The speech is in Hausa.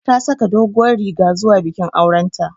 Ta saka doguwar riga zuwa bikin auren ta